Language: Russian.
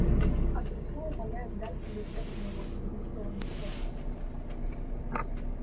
а друзья умоляют дать им рецепт моего игристого настоя